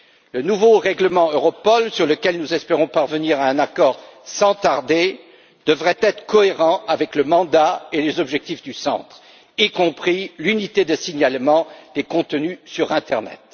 Le nouveau règlement Europol, sur lequel nous espérons parvenir à un accord sans tarder, devrait être cohérent avec le mandat et les objectifs du centre, y compris l'unité de signalement des contenus sur internet.